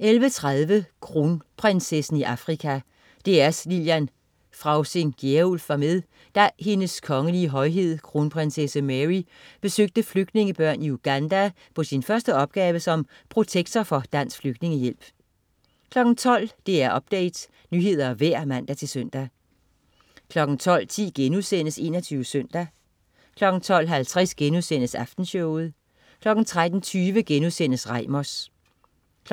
11.30 Kronprinsessen i Afrika. DR's Lillian Frausing Gjerulf var med, da Hendes Kongelige Højhed Kronprinssse Mary besøgte flygtningebørn i Uganda på sin første opgave som protektor for Dansk Flygtningehjælp 12.00 DR Update. Nyheder og vejr (man-søn) 12.10 21 Søndag* 12.50 Aftenshowet* 13.20 Reimers*